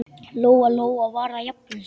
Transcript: Lóa-Lóa var að jafna sig.